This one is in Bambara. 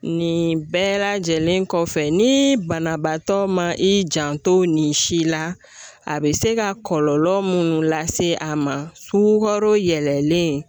Nin bɛɛ lajɛlen kɔfɛ ni banabaatɔ ma i janto nin si la, a bɛ se ka kɔlɔlɔ mun lase a ma sukaro yɛlɛlen